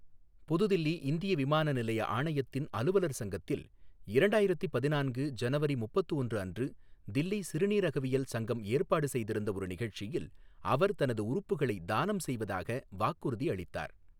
புதுதில்லி இந்திய விமான நிலைய ஆணையத்தின் அலுவலர் சங்கத்தில் இரண்டாயிரத்து பதினான்கு ஜனவரி முப்பத்து ஒன்று அன்று தில்லி சிறுநீரகவியல் சங்கம் ஏற்பாடு செய்திருந்த ஒரு நிகழ்ச்சியில் அவர் தனது உறுப்புகளை தானம் செய்வதாக வாக்குறுதி அளித்தார்.